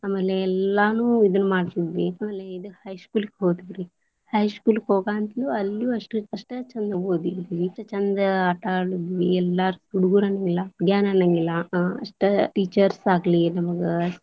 ಆಮೇಲೆ ಎಲ್ಲಾನು ಇದ್ನ್ ಮಾಡ್ತಿದ್ವಿ, ಆಮೇಲೆ ಇದ high school ಹೋದ್ವಿರೀ, high school ಹೋಗಂತರು ಅಲ್ಲೂ ಅಷ್ಟ ಚಂದ ಓದಿದ್ವಿ ಇಷ್ಟ ಚಂದ ಆಟಾದ್ವಿ ಎಲ್ಲರೂ ಹುಡಗುರ ಅನಂಗಿಲ್ಲ ಹುಡಿಗ್ಯಾರ ಅನಂಗಿಲ್ಲ ಅಷ್ಟ teachers ಆಗ್ಲಿ ನಮಗ.